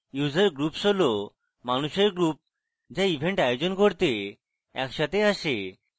user groups হল মানুষের groups যারা event আয়োজন করতে একসাথে আসে